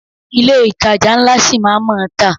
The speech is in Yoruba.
Ilé ìtajà ńlá ṣi máa a má tà.